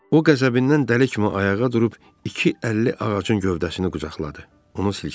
O qəzəbindən dəli kimi ayağa durub iki əlli ağacın gövdəsini qucaqladı, onu silkələdi.